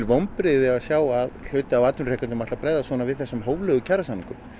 vonbrigði að sjá að hluti af atvinnurekendum ætli að bregðast svona við þessum hóflegu kjarasamningum